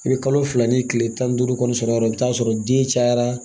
I bɛ kalo fila ni tile tan ni duuru kɔni sɔrɔ i bɛ taa sɔrɔ den cayara